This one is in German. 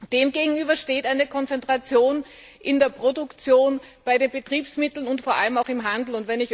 Dem gegenüber steht eine Konzentration in der Produktion, bei den Betriebsmitteln und vor allem auch im Handel.